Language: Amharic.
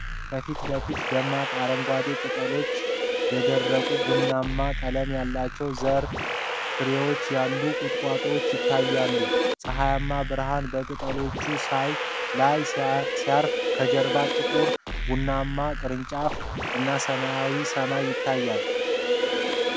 ከፊት ለፊት ደማቅ አረንጓዴ ቅጠሎችና የደረቁ፣ ቡናማ ቀለም ያላቸው ዘር ፍሬዎች ያሉት ቁጥቋጦ ይታያል። ፀሐያማ ብርሃን በቅጠሎቹ ላይ ሲያርፍ ከጀርባው ጥቁር ቡናማ ቅርንጫፎችና ሰማያዊ ሰማይ ይታያል።